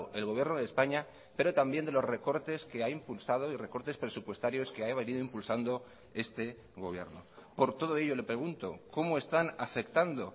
el gobierno de españa pero también de los recortes que ha impulsado y recortes presupuestarios que ha venido impulsando este gobierno por todo ello le pregunto cómo están afectando